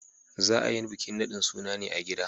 Za a yi bikin nadin sunan ne a gida.